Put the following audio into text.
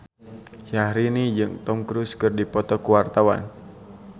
Syahrini jeung Tom Cruise keur dipoto ku wartawan